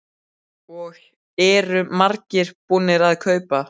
Og eru margir búnir að kaupa?